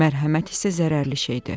Mərhəmət isə zərərli şeydir.